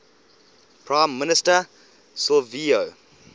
prime minister silvio